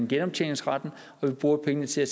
genoptjeningsretten hvor vi bruger pengene til at